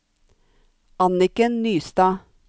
Anniken Nystad